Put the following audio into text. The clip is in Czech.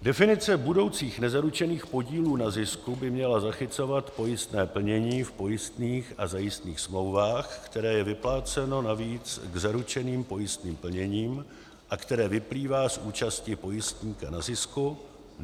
Definice budoucích nezaručených podílů na zisku by měla zachycovat pojistné plnění v pojistných a zajistných smlouvách, které je vypláceno navíc k zaručeným pojistným plněním a které vyplývá z účasti pojistníka na zisku.